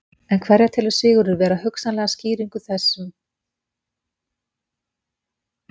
En hverja telur Sigurður vera hugsanlega skýringu þessum góða árangri á Skarðaborg?